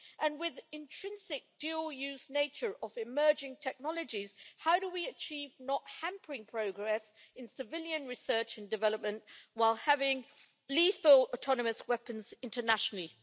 and with the intrinsic dual use nature of emerging technologies, how do we achieve not hampering progress in civilian research and development while having lethal autonomous weapons internationally?